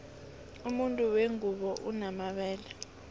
umuntu wengubo unomabele